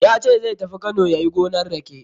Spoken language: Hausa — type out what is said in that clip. Ya ce zai tafi Kano yayi gonan rake.